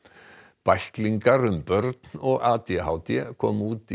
bæklingar um börn og a d h d komu út í